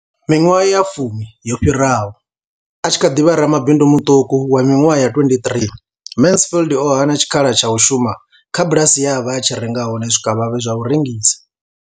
Miṅwaha ya fumi yo fhiraho, a tshi kha ḓi vha ramabindu muṱuku wa miṅwaha ya 23, Mansfield o hana tshikhala tsha u shuma kha bulasi ye a vha a tshi renga hone zwikavhavhe zwa u rengisa.